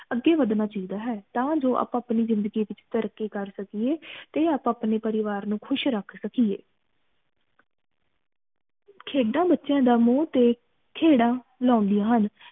ਅਗੇ ਵਧਣਾ ਚਾਹੀਦਾ ਹੈ ਤਾ ਜੋ ਆਪਾ ਅਪਣੀ ਜਿੰਦਗੀ ਵਿਚ ਤਰਿਕੀ ਕਰ ਸਕੀਏ ਤੇ ਆਪਾ ਅਪਣੇ ਪਰਿਵਾਰ ਨੂੰ ਖੁਸ਼ ਰੱਖ ਸਕੀਏ ਖੇਡਾਂ ਬੱਚਿਆਂ ਦਾ ਮੋਹ ਤੇ ਖੇੜਾ ਲੌਂਦੀਆਂ ਹਨ